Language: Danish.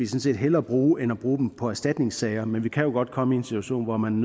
set hellere bruge end bruge dem på erstatningssager men vi kan jo godt komme i en situation hvor man